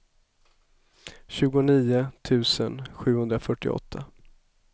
tjugonio tusen sjuhundrafyrtioåtta